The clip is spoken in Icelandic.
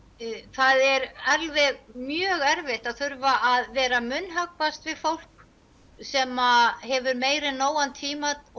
það er alveg mjög erfitt að þurfa að vera að munnhöggvast við fólk sem hefur meir en nógan tíma og